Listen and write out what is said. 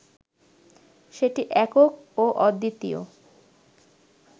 সেটি একক ও অদ্বিতীয়